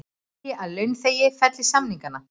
Vilja að launþegar felli samningana